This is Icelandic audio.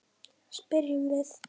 spyrjum við.